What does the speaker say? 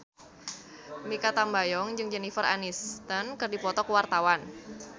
Mikha Tambayong jeung Jennifer Aniston keur dipoto ku wartawan